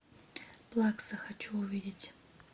плакса хочу увидеть